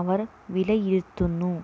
അവർ വിലയിരുത്തുന്നു